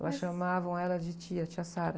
Elas chamavam ela de tia, tia.